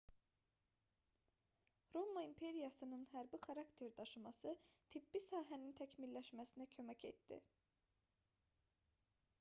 roma imperiyasının hərbi xarakter daşıması tibbi sahənin təkmilləşməsinə kömək etdi